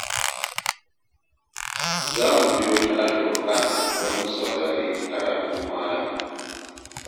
Za mu biyo ta Alfurƙan don mu saurari karatun Malam.